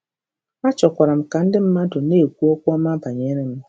Achọkwara m ka ndị mmadụ na-ekwu okwu ọma banyere m